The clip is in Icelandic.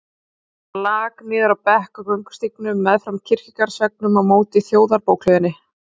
Hann lak niður á bekk á göngustígnum meðfram kirkjugarðsveggnum á móti Þjóðarbókhlöðunni.